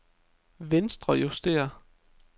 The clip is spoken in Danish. venstrejusteret